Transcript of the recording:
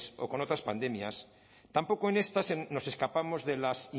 o con otras pandemias tampoco en esta nos escapamos de las